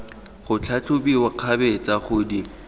go tlhatlhobiwa kgabetsa go di